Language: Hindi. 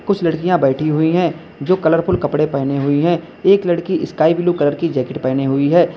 कुछ लड़कियां बैठी हुई हैं जो कलरफुल कपड़े पहने हुई हैं एक लड़की स्काई ब्लू कलर की जैकेट पहने हुई है।